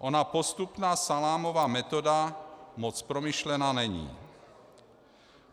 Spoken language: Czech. Ona postupná salámová metoda moc promyšlená není.